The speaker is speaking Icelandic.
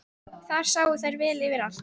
Þar sáu þær vel yfir allt.